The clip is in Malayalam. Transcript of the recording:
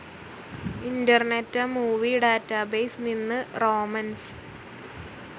ഇന്റർനെറ്റ്‌ മൂവി ഡാറ്റാബേസ്‌ നിന്ന് റോമൻസ്